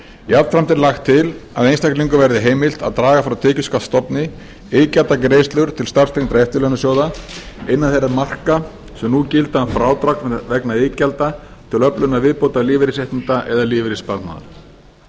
jafnframt er lagt til að einstaklingum verði heimilt að draga frá tekjuskattsstofni iðgjaldagreiðslur til starfstengdra eftirlaunasjóða innan þeirra marka sem nú gilda um frádrag vegna iðgjalda til öflunar viðbótarlífeyrisréttinda eða lífeyrissparnaðar